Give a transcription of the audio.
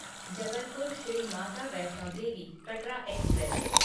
Jabalpur Shri Mata Vaishno Devi Katra express